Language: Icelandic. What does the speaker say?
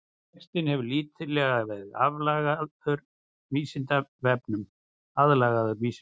Textinn hefur lítillega verið aðlagaður Vísindavefnum.